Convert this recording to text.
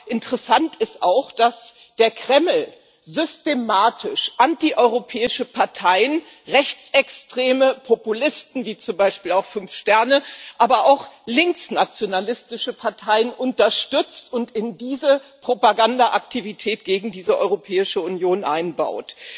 Aber interessant ist auch, dass der Kreml systematisch anti europäische Parteien, rechtsextreme Populisten wie zum Beispiel auch Fünf Sterne, aber auch linksnationalistische Parteien unterstützt und in diese Propaganda Aktivitäten gegen die Europäische Union einbaut.